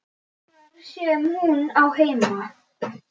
Þar sem hún á heima.